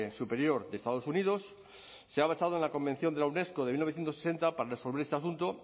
superior de estados unidos se ha basado en la convención de la unesco de mil novecientos ochenta para resolver este asunto